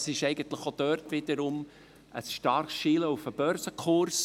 Es ist auch dort wiederum ein starkes Schielen auf den Börsenkurs.